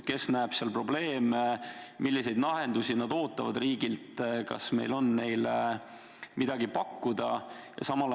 Mis probleeme nad näevad ja milliseid lahendusi nad ootavad riigilt ning kas meil on neile midagi pakkuda?